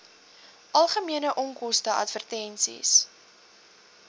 algemene onkoste advertensies